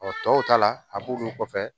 tɔw ta la a b'olu kɔfɛ